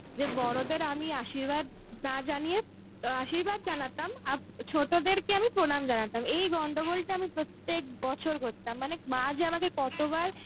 যে বড়দের আমি আশির্বাদ না জানিয়ে, আশির্বাদ জানতাম ছোটদের আমি প্রনাম জানতাম. এই গন্ডগোলটা আমি প্রত্যেক বছর করতাম. মানে, মা যে আমায় কতবার